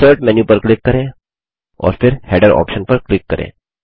insert menu पर click करें और फिर हेडर ऑप्शन पर क्लिक करें